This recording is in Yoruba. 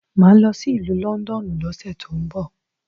Máà lọ sí ìlú London lọ́sẹ̀ tó ń bọ